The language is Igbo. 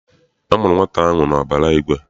A mụrụ nwata ahụ n'ọbara igwe.